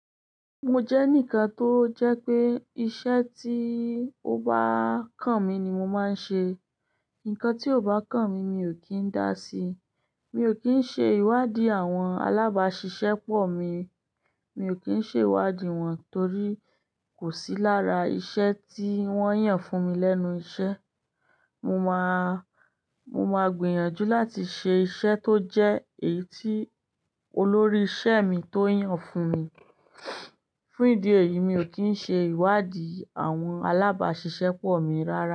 Mo jẹ́ ǹkan tó jẹ́ pé iṣẹ́ tí ó bá kàn mi ni mo máa ń ṣe. Ǹkan tí ò bá kàn mi, mi ò kí ń dá sí. Mi ò kí ń ṣe ìwádìí àwọn alábàáṣiṣẹ́ pọ̀ mi, mi ò kí ń ṣe ìwádìí wọn torí kò sí lára iṣẹ́ tí wọ́n yàn fún mi lẹ́nu iṣẹ́. Mo máa, mo máa gbìyànjú láti ṣe iṣẹ́ tó jẹ́ èyí tí olórí iṣẹ́ mi tó yàn fún mi. Fún ìdí èyí, mi ò kí ń ṣe ìwádìí àwọn alábàáṣiṣẹ́ pọ̀ mi rárá.